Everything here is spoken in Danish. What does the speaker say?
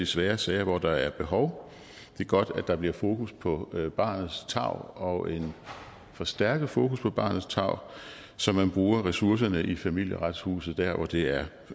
svære sager hvor der er behov det er godt at der bliver fokus på barnets tarv og en forstærket fokus på barnets tarv så man bruger ressourcerne i familieretshuset der hvor det er